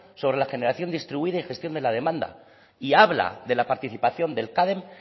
sobre la generación distribuida y gestión de la demanda y habla de la participación del cadem